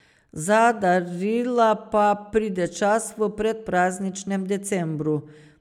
Za darila pa pride čas v predprazničnem decembru.